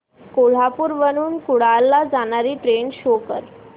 कोल्हापूर वरून कुडाळ ला जाणारी ट्रेन शो कर